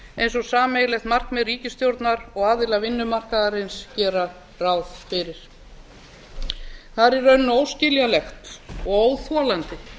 eins og sameiginlegt markmið ríkisstjórnar og aðila vinnumarkaðarins gera ráð fyrir það er í rauninni óskiljanlegt og óþolandi